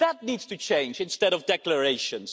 That needs to change instead of declarations.